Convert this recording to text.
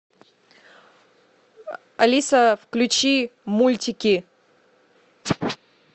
алиса включи мультики